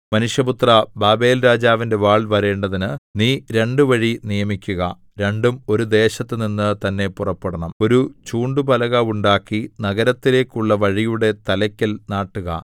മനുഷ്യപുത്രാ ബാബേൽരാജാവിന്റെ വാൾ വരേണ്ടതിന് നീ രണ്ടു വഴി നിയമിക്കുക രണ്ടും ഒരു ദേശത്തുനിന്ന് തന്നെ പുറപ്പെടണം ഒരു ചൂണ്ടുപലക ഉണ്ടാക്കി നഗരത്തിലേക്കുള്ള വഴിയുടെ തലയ്ക്കൽ നാട്ടുക